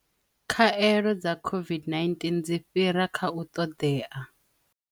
Khaelo dza COVID-19 dzi fhira kha u ṱoḓea